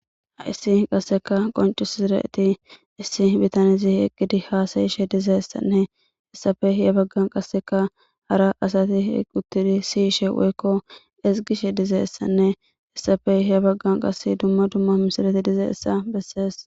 Ha7issi qassikka qonccissida ethi issi bithanee eqqidi haasayishe dizayssanne issappe ya baggan qassikka hara asathi uththidi siyishe woykko ezggishe dizayssanne essappe ya baggan qassi dumma dumma misilezi dizayssa bessees.